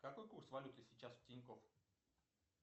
какой курс валюты сейчас в тинькофф